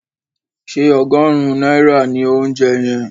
Ṣé ọgọ́rùn-ún náírà ni óunjẹ yẹn?